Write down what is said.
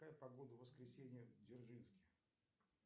какая погода в воскресенье в дзержинске